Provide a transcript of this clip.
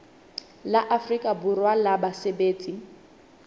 la afrika borwa la basebetsi